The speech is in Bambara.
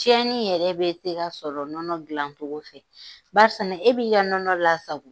Tiɲɛni yɛrɛ bɛ tɛ ka sɔrɔ nɔnɔ dilan cogo fɛ. Barisa ne e b'i ka nɔnɔ lasago